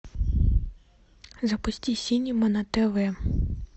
запусти синема на тв